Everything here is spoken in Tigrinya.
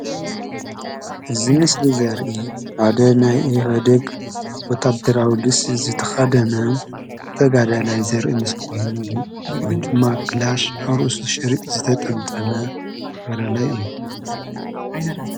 እዚ ምስሊ እዚ ዘርኢ ሓደ ናይ ኢህወደግ ወታደር ልብሲ ዝተከደነ ተጋዳላይ ዘርኢ ምስሊ ኮይኑ ወይ ድማ ክላሽ ኣብ ርእሱ ዝተጠምጠመ ተጋዳላይ እዩ።